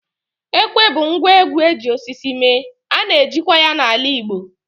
Ekwe bụ ngwa egwú eji osisi mee, ana eji kwa ya n'ala Igbo.